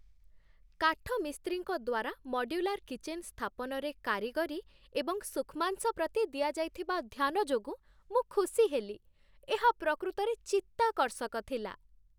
କାଠମିସ୍ତ୍ରୀଙ୍କ ଦ୍ୱାରା modular kitchen ସ୍ଥାପନରେ କାରିଗରୀ ଏବଂ ସୂକ୍ଷ୍ମାଂଶ ପ୍ରତି ଦିଆଯାଇଥିବା ଧ୍ୟାନ ଯୋଗୁଁ ମୁଁ ଖୁସି ହେଲି ଏହା ପ୍ରକୃତରେ ଚିତ୍ତାକର୍ଷକ ଥିଲା।